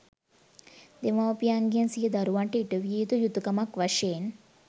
දෙමව්පියන්ගෙන් සිය දරුවන්ට ඉටු විය යුතු යුතුකමක් වශයෙන්